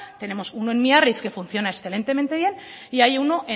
tenemos uno en biarritz que funciona excelentemente bien y hay uno